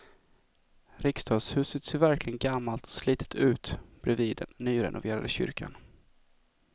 Riksdagshuset ser verkligen gammalt och slitet ut bredvid den nyrenoverade kyrkan.